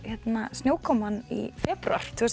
snjókomunni í febrúar tvö